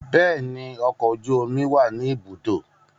Bẹẹni, ọkọ oju omi wa ni ibudo